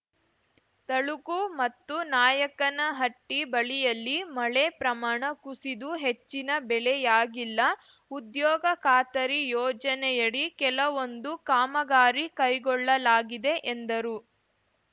ತಳಕು ಮತ್ತು ನಾಯಕನಹಟ್ಟಿ ಬಳಿಯಲ್ಲಿ ಮಳೆ ಪ್ರಮಾಣ ಕುಸಿದು ಹೆಚ್ಚಿನ ಬೆಳೆಯಾಗಿಲ್ಲ ಉದ್ಯೋಗ ಖಾತರಿ ಯೋಜನೆಯಡಿ ಕೆಲವೊಂದು ಕಾಮಗಾರಿ ಕೈಗೊಳ್ಳಲಾಗಿದೆ ಎಂದರು